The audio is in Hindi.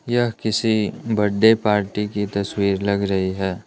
यह किसी बर्थडे पार्टी की तस्वीर लग रही है।